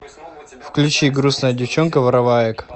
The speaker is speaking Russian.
включи грустная девчонка вороваек